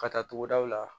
Ka taa togodaw la